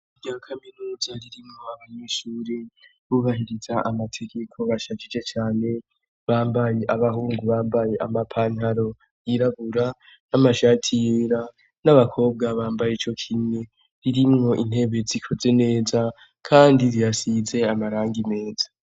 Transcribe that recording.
Irya kaminuza ririmwo abanyushure bubahiriza amategeko bashakije cane bambaye abahungu bambaye amapantaro yirabura n'amashati yera n'abakobwa bambaye ico kine ririmwo intebe zikoze neza, kandi riyasize amaranga imeza.